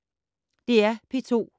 DR P2